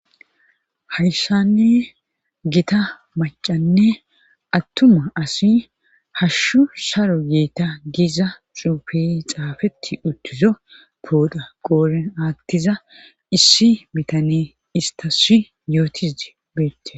Hayshanne gita macanne attuma asi hashshu saro yeeta giiza cuupe xaafeti uttizo pooda qooren aattiza issi mitane istasi yootiz beette.